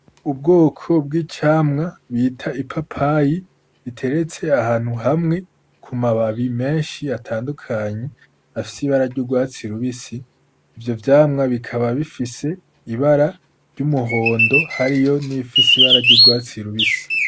Ubwoko bw'icamwa bita ipapayi iteretse ahantu hamwe kumababi menshi atandukanye afise ibara ry'urwatsi rubisi, ivyo vyamwa bikaba bifise ibara ry'umuhondo hariyo n'iyifise ibara ry'urwatsi rubisi.